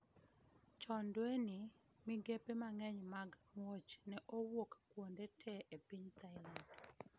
Chon dwe ni, migepe mang'eny mag muoch ne owuok kuonde tee e piny Thailand